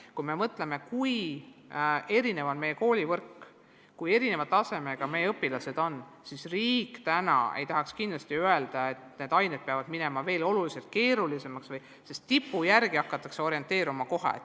Kui me mõtleme, kui erinev on meie koolivõrk, kui erineva tasemega meie õpilased on, siis riik ei tahaks kindlasti öelda, et teatud ained peavad minema veel oluliselt keerulisemaks, sest tipu järgi hakatakse orienteeruma kohe.